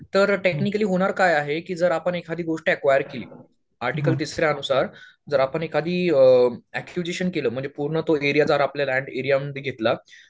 तर टेक्निकली होणार काय आहे की जर आपण एखादी गोष्ट ऍक्वायर केली आर्टिकल तिसऱ्यानुसार जर आपण एखादी अ एक्विजीशन म्हणजे तो पूर्ण तो एरिया जर लँड आपल्या एरियामध्ये घेतला